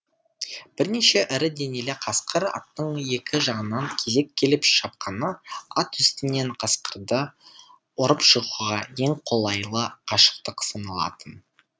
бірнеше ірі денелі қасқыр аттың екі жағынан кезек келіп шапқаны ат үстінен қасқырды ұрып жығуға ең қолайлы қашықтық саналатын